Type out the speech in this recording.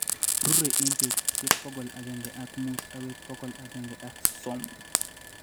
rurei eng' putusyek pokol agenge ak muut agoi pokol agenge ak sosom.